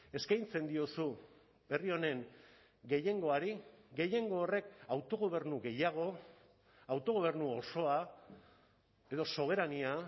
eskaintzen diozu herri honen gehiengoari gehiengo horrek autogobernu gehiago autogobernu osoa edo soberania